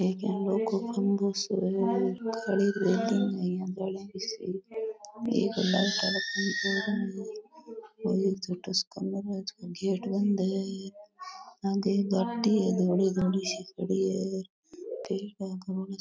एक लाइट लगी है एक छोटो सो कमरों है गेट बंद है --